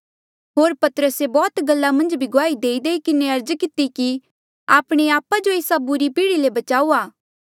होर पतरसे बौह्त गल्ला मन्झ भी गुआही देईदेई किन्हें अर्ज किती कि आपणे आपा जो एस्सा बुरे पीढ़ी ले बचाऊआ